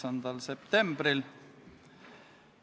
Head kolleegid!